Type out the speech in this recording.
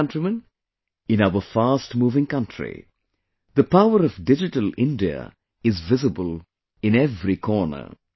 My dear countrymen, in our fast moving country, the power of Digital India is visible in every corner